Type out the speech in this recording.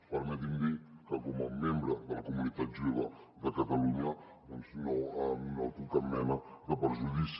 permeti’m dir que com a membre de la comunitat jueva de catalunya doncs no noto cap mena de perjudici